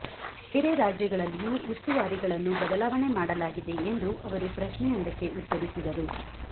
ಬೇರೆ ರಾಜ್ಯಗಳಲ್ಲಿಯೂ ಉಸ್ತುವಾರಿಗಳನ್ನು ಬದಲಾವಣೆ ಮಾಡಲಾಗಿದೆ ಎಂದು ಅವರು ಪ್ರಶ್ನೆಯೊಂದಕ್ಕೆ ಉತ್ತರಿಸಿದರು